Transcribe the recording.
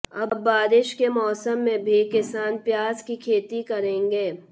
अब बारिश के मौसम में भी किसान प्याज की खेती करेंगे